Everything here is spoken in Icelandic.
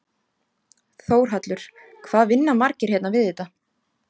Þórhallur: Hvað vinna margir hérna við þetta?